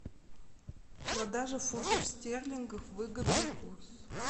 продажа фунтов стерлингов выгодный курс